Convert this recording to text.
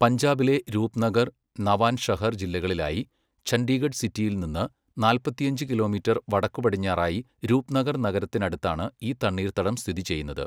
പഞ്ചാബിലെ രൂപ്നഗർ, നവാൻഷഹർ ജില്ലകളിലായി ചണ്ഡീഗഡ് സിറ്റിയിൽ നിന്ന് നാൽപ്പത്തിയഞ്ച് കിലോമീറ്റർ വടക്കുപടിഞ്ഞാറായി രൂപ്നഗർ നഗരത്തിനടുത്താണ് ഈ തണ്ണീർത്തടം സ്ഥിതി ചെയ്യുന്നത്.